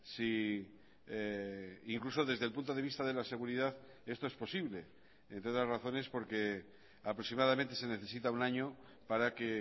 si incluso desde el punto de vista de la seguridadesto es posible entre otras razones porque aproximadamente se necesita un año para que